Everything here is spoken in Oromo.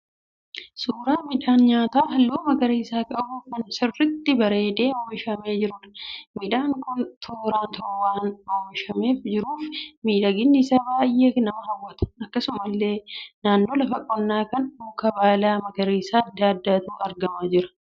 Suuraa midhaan nyaataa halluu magarisa qabu kan sirriitti bareedee oomishamee jiruudha. Midhaan kun tooraan waan oomishamee jiruuf miidhaginni isaa baay'ee nama hawwata. Akkasumallee naannoo lafa qonnaa kana mukeen baala magariisaa adda addaatu argamaa jira.